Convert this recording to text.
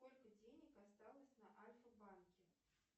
сколько денег осталось на альфабанке